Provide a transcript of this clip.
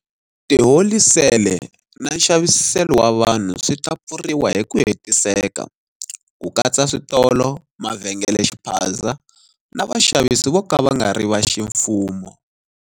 Tiholisele na nxaviselo wa vanhu swi ta pfuriwa hi ku hetiseka, ku katsa switolo, mavhengelexiphaza na vaxavisi vo ka va nga ri va ximfumo.